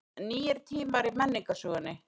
Nýir tímar í menningarsögunni